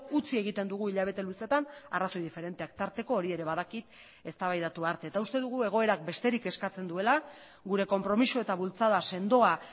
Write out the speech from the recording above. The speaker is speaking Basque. utzi egiten dugu hilabete luzeetan arrazoi diferenteak tarteko hori ere badakit eztabaidatu arte eta uste dugu egoerak besterik eskatzen duela gure konpromiso eta bultzada sendoa